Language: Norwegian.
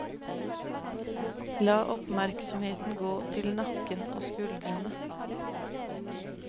La oppmerksomheten gå til nakken og skuldrene.